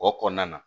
O kɔnɔna na